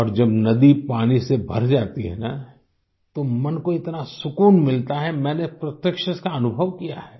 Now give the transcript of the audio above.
और जब नदी पानी से भर जाती है न तो मन को इतना सुकून मिलता है मैंने प्रत्यक्ष से इसका अनुभव किया है